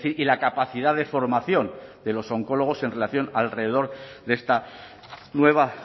y la capacidad de formación de los oncólogos en relación alrededor de esta nueva